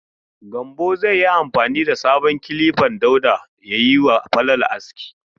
Gambo zai yi amfani da sabon kilifan Dauda ya yi wa Falalu aski..